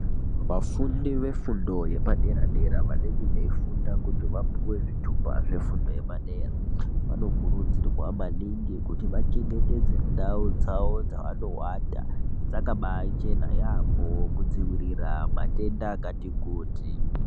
Vafundi vefundo yepadera-dera vanenge veichifunda kuti vapuwe zvitupa zvefundo yepadera vanokurudzirwa maningi kuti vachengetedze ndau dzawo dzavanowata dzakabachena yaamho kudzivirira matenda akati kuti.